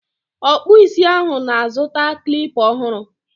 Ọkpụ isi ahụ na-azụta Klipa ọhụrụ